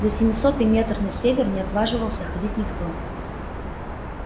за семисотый метр на север не отваживался ходить никто